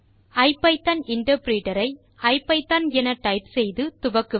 ஐபிதான் interpreter ஐ IPython என type செய்து துவக்குவது